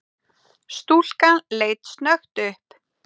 Stúlkan leit snöggt upp.